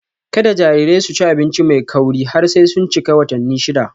Kada jarirai su ci abinci mai kauri har sai sun cika watanni shida.